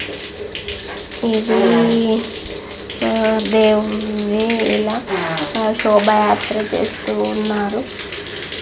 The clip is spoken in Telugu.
ఇది దేవుణ్ణి ఇలా శోభా యాత్ర చేస్తూ ఉన్నారు.